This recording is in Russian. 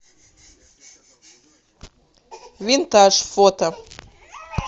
винтаж фото